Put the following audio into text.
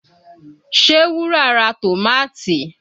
Ṣé Wúrà ra tòmátì?